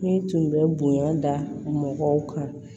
Ne tun bɛ bonya da mɔgɔw kan